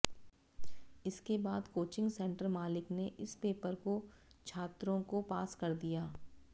इसके बाद coaching centre मालिक ने इस पेपर को छात्रों को पास कर दिया